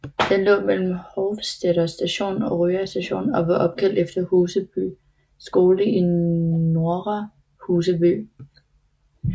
Den lå mellem Hovseter Station og Røa Station og var opkaldt efter Huseby skole i Nordre Huseby